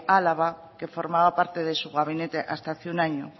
álava que formaba parte de su gabinete hasta hace un año